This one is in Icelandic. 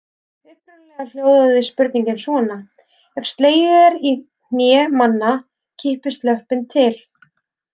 Upprunalega hljóðaði spurningin svona: Ef slegið er í hné manna kippist löppin til.